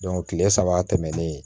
kile saba tɛmɛlen